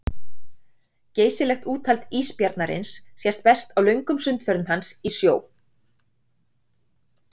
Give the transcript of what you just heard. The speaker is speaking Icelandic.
Geysilegt úthald ísbjarnarins sést best á löngum sundferðum hans í sjó.